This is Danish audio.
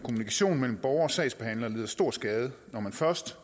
at kommunikationen mellem borgere og sagsbehandlere lider stor skade når man først